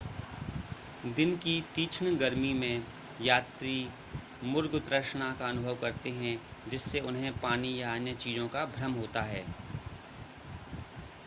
दिन की तीक्षण गर्मी में यात्री मुर्ग तृष्णा का अनुभव करते हैं जिससे उन्हें पानी या अन्य चीज़ों का भ्रम होता है